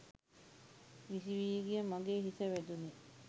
විසි වී ගිය මගේ හිස වැදුණේ